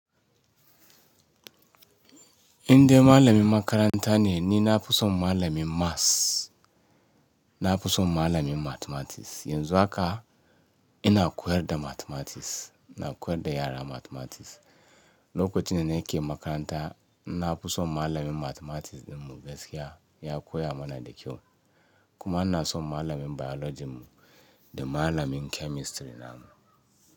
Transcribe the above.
Indai malamin makaranta ne, ni nafi son malamin maths. Nafi son malamin mathematics. Yanzu haka ina koyar da mathematics, ina koyar da yara mathematics. Lokacin da nake makaranta nafi son malamin mathematics ɗinmu gaskiya, ya koya mana da kyau. Kuma ina son malamin biology mu da malamin chemistry namu.